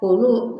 Olu